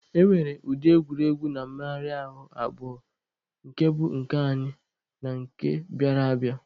E nwere ụdị egwuregwu na mmegharị ahụ abụọ nke bụ nke anyị na nke bịara abịa.